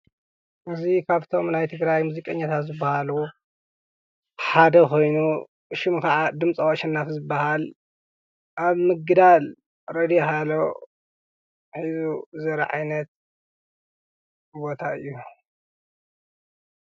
እዙ ኻብቶም ናይ ትግራይ ሙዚቀኛታት ዝበሃል ሓደ ኾይኑ ሹም ከዓ ድምጸዋሸ ናፊ ዝበሃል ኣብ ምግዳል ሬድዮ ሃሎ ዘረዐይነት እወታ እዩ ።